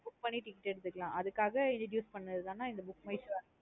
Book பண்ணி ticket எடுத்துக்கலாம். அதுக்காக introduce பண்ணது தன் நா இந்த book my show app